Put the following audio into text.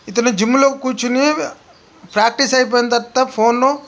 ఇతను జిమ్ లో కూర్చొని ప్రాక్టీసు అయిపోయిన తర్వాత ఫోన్ లో--